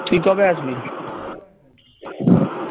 তুই কবে আসবি?